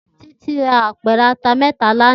Titi rá ápèrè àtá mètá làná